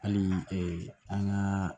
Hali an ka